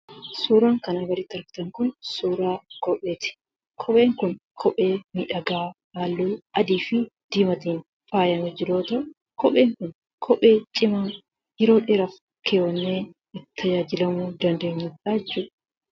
Suuraan kana gaditti argitan kun suuraa kopheeti. Kopheen kun kophee miidhagaa, halluu adiifi diimaatiin faayamee jiru yoo ta'u kopheen kun kophee cimaa, yeroo dheeraaf kaawwannee itti tajaajilamaa dandeenyudha jechuudha.